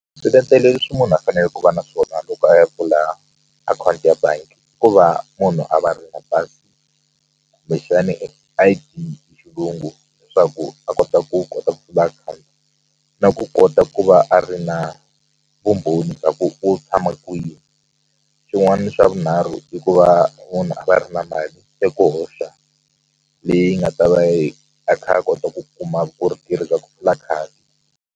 Swiletelo leswi munhu a fanele ku va na swona loko a ya pfula akhawunti ya bangi ku va munhu a va ri na pasi kumbexani I_D hi xilungu leswaku a kota ku kota ku pfula akhawunti na ku kota ku va a ri na vumbhoni bya ku u tshama kwini swin'wani swa vunharhu i ku va munhu a va ri na mali ya ku hoxa leyi nga ta va yi a kha a kota ku kuma ku ri tirhisa ku pfula khadi.